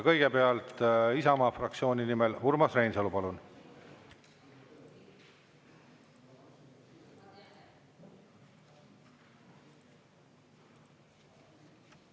Kõigepealt Isamaa fraktsiooni nimel Urmas Reinsalu, palun!